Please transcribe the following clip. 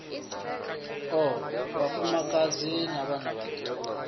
o vhafumakadzi na vhanna vhaṱuku